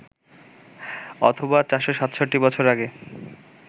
অথবা ৪৬৭ বছর আগে